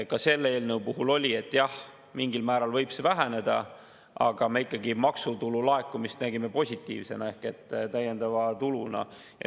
Ka selle eelnõu puhul oli, et jah, mingil määral võib see väheneda, aga me ikkagi maksutulu laekumist nägime positiivsena ehk täiendava tuluna.